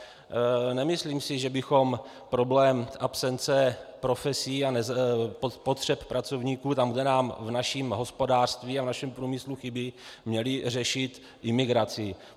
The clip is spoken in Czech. Nemyslím si, že bychom problém absence profesí a potřeb pracovníků tam, kde nám v našem hospodářství a v našem průmyslu chybí, měli řešit imigrací.